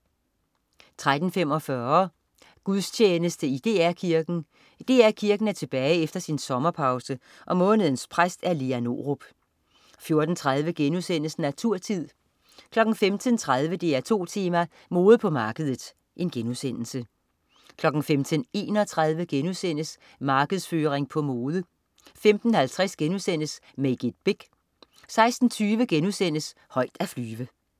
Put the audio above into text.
13.45 Gudstjeneste i DR Kirken. DR Kirken er tilbage efter sin sommerpause, og månedens præst er Lea Norup 14.30 Naturtid* 15.30 DR2 Tema: Mode på markedet* 15.31 Markedsføring på mode* 15.50 Make it big* 16.20 Højt at flyve*